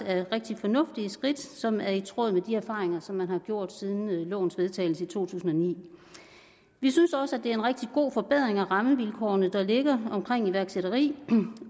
er rigtig fornuftige skridt som er i tråd med de erfaringer som man har gjort siden lovens vedtagelse i to tusind og ni vi synes også at det er en rigtig god forbedring af rammevilkårene der ligger omkring iværksætteri